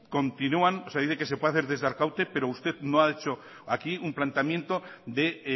continúan o sea dice que se puede hacer desde arkaute pero usted no ha hecho aquí un planteamiento de